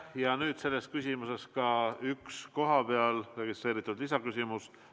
Ja nüüd sel teemal ka üks kohapeal registreeritud küsimus.